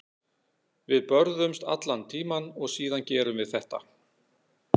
Við börðumst allan tímann og síðan gerum við þetta.